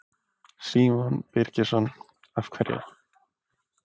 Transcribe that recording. Símon Birgisson: Af hverju?